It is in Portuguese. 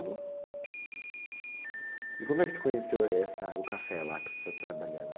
como é que você conheceu, eh, essa, o café lá que você está trabalhando?